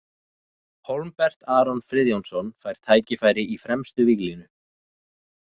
Hólmbert Aron Friðjónsson fær tækifæri í fremstu víglínu.